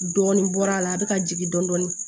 Dɔɔnin bɔra a la a bɛ ka jigin dɔɔnin